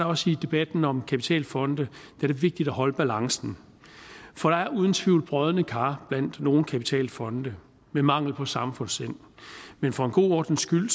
også i debatten om kapitalfonde vigtigt at holde balancen for der er uden tvivl brodne kar blandt nogle kapitalfonde med mangel på samfundssind men for god ordens skyld